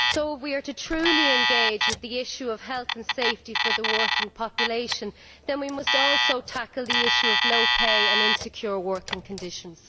So if we are to truly engage with the issue of health and safety for the working population, then we must also tackle the issue of low pay and insecure working conditions.